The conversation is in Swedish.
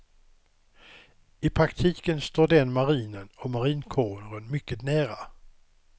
I praktiken står den marinen och marinkåren mycket nära.